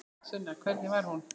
Sunna: Hvernig var hún?